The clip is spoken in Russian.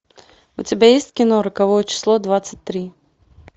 у тебя есть кино роковое число двадцать три